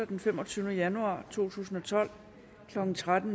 den femogtyvende januar to tusind og tolv klokken tretten